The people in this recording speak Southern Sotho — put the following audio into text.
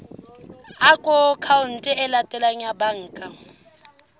akhaonteng e latelang ya banka